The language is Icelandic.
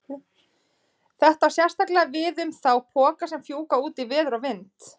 Þetta á sérstaklega við um þá poka sem fjúka út í veður og vind.